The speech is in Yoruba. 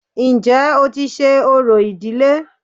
Ǹjẹ́ o ti ṣe orò ìdílé